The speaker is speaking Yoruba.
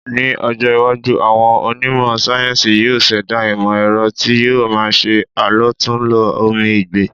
Ní ọjọ́ iwájú, àwọn onímọ̀ sáyéńsì yóò ṣẹ̀dá ìmọ̀-ẹ̀rọ tí yóò má ṣe àlòtúnlò omi ìgbẹ́.